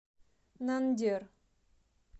нандер